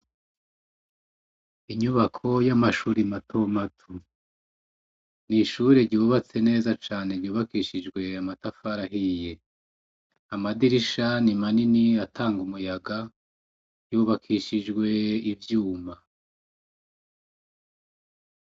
Inyubako y'amashure mato mato, nishure ryubatse neza cane ryubakishije amatafari ahiye, amadirisha ni manini atanga umuyaga yubakishijwe ivyuma.